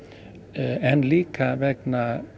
en líka vegna